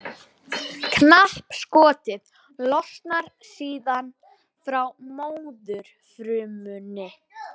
Knappskotið losnar síðan frá móðurfrumunni.